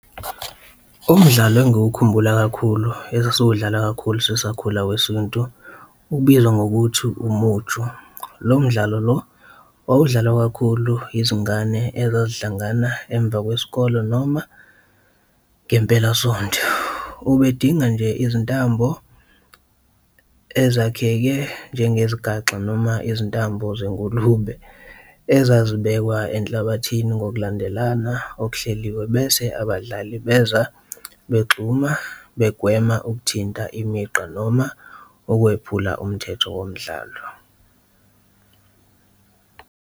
Umdlalo engiwukhumbula kakhulu esasiwudlala kakhulu sisakhula wesintu okubizwa ngokuthi umuju, lo mdlalo lo wawudlalwa kakhulu izingane ezazihlangana emva kwesikole noma ngempelasonto. Ubedinga nje izintambo ezakheke njengezigaxa noma izintambo zengulube ezazibekwa enhlabathini ngokulandelana okuhleliwe, bese abadlali beza begxuma begwema ukuthinta imigqa noma ukwephula umthetho womdlalo.